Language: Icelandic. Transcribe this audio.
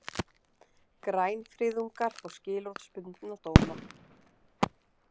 Grænfriðungar fá skilorðsbundna dóma